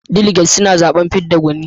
Daliget suna zaɓen fidda gwani.